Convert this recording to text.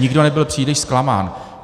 Nikdo nebyl příliš zklamán.